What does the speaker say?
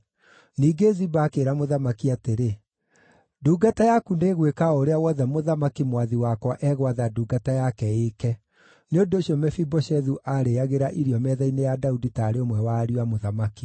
Ningĩ Ziba akĩĩra mũthamaki atĩrĩ, “Ndungata yaku nĩĩgwĩka o ũrĩa wothe mũthamaki, mwathi wakwa, egwatha ndungata yake ĩĩke.” Nĩ ũndũ ũcio Mefiboshethu aarĩĩagĩra irio metha-inĩ ya Daudi taarĩ ũmwe wa ariũ a mũthamaki.